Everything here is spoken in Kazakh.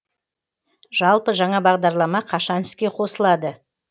жалпы жаңа бағдарлама қашан іске қосылады